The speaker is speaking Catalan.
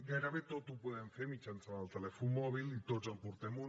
gairebé tot ho podem fer mitjançant el telèfon mòbil i tots en portem un